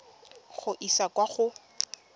go e isa kwa go